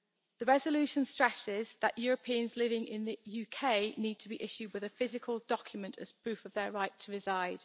This resolution stresses that Europeans living in the UK need to be issued with a physical document as proof of their right to reside.